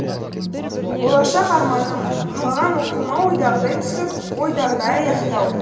болашақ арманым қалаған оқуыма ойдағыдай түсіп ойдағыдай аяқтау